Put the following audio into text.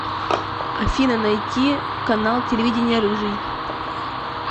афина найти канал телевидения рыжий